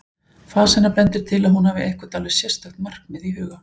Fas hennar bendir til að hún hafi eitthvert alveg sérstakt markmið í huga.